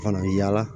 Fana bɛ yaala